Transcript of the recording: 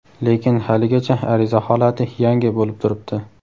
lekin haligacha ariza holati "yangi" bo‘lib turibdi.